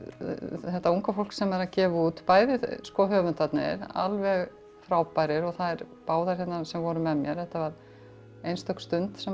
þetta unga fólk sem er að gefa út bæði höfundarnir alveg frábærir og þær báðar sem voru með mér þetta var einstök stund sem